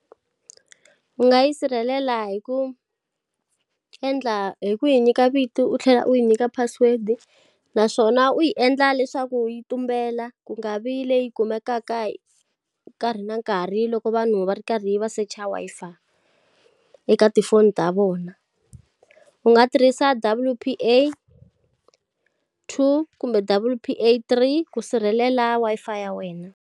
U nga yi sirhelela hi ku endla hi ku yi nyika vito u tlhela u yi nyika password-i. Naswona u yi endla leswaku yi tumbela, ku nga vi leyi kumekaka hi nkarhi na nkarhi loko vanhu va ri karhi va search-a Wi-Fi eka tifoni ta vona. U nga tirhisa W_P_A two kumbe W_P_A three ku sirhelela Wi-Fi ya wena.